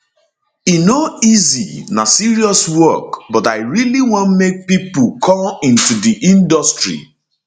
e no easy na serious work but i really want make pipo come into di industry di industry